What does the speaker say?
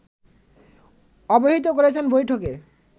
অবহিত করেছেন বৈঠকে